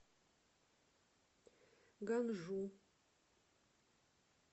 ганжу